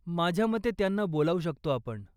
माझ्यामते त्यांना बोलावू शकतो आपण.